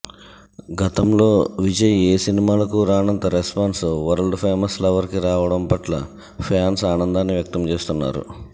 గతంలో విజయ్ ఏ సినిమాలకు రానంత రెస్పాన్స్ వరల్డ్ ఫేమస్ లవర్కి రావడం పట్ల ఫ్యాన్స్ ఆనందాన్ని వ్యక్తం చేస్తున్నారు